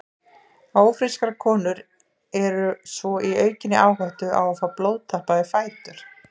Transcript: Ófrískar konur eru svo í aukinni áhættu á að fá blóðtappa í fætur.